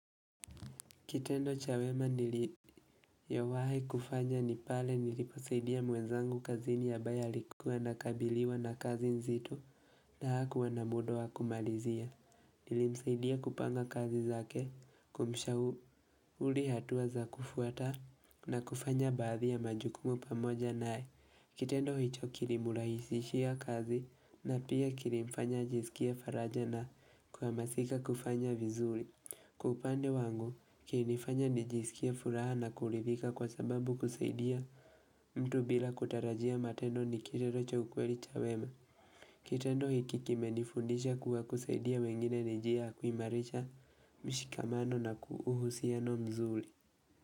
Kitendo cha wema niliyowahi kufanya ni pale niliposaidia mwezangu kazini ambaye alikuwa anakabiliwa na kazi nzito na hakuwa na muda wa kumalizia. Nilimsaidia kupanga kazi zake kumishauri hatua za kufuata na kufanya baathi ya majukumu pamoja naye. Kitendo hicho kilimurahisishia kazi na pia kilimfanya ajizikia faraja na kuamasika kufanya vizuri. Kwa upande wangu, kilinifanya nijisikie furaha na kurithika kwa sababu kusaidia mtu bila kutarajia matendo ni kitendo cha ukweli cha wema. Kitendo hiki kimenifundisha kuwa kusaidia wengine ni njia kuimarisha mshikamano na uhusiano mzuri.